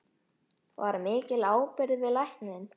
Var mikil byggð við Lækinn?